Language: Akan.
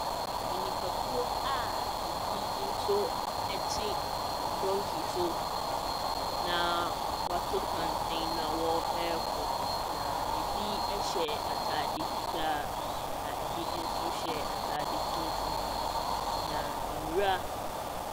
Nipakuo a binom nso te donkey so na wɔato santene na wɔrekɔ. Na ɛbi hyɛ atade fitaa, na ɛbi nso hyɛ atade tuntum. Na nwura.